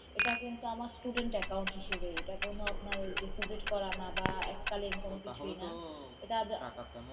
এটা কিন্তু আমনের student account হিসাবে এটা আপনার কোনো Deposit করা না বা এককালীন কোনো কিছুই না তাহলে তো এটা টাকা তেমন।